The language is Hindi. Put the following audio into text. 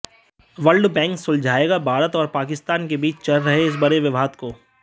वर्ल्ड बैंक सुलझाएगा भारत और पाकिस्तान के बीच चल रहे इस बड़े विवाद को